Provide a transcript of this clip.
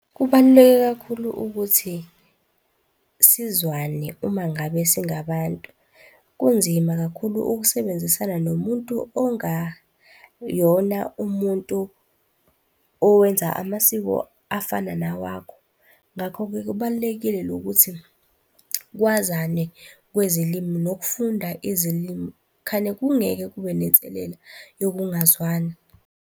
Kubaluleke kakhulu ukuthi sizwane uma ngabe singabantu. Kunzima kakhulu ukusebenzisana nomuntu ongayona umuntu owenza amasiko afana nawakho. Ngakho-ke kubalulekile lokuthi kwazane kwezilimi nokufunda izilimi khane kungeke kube nenselela yokungazwani.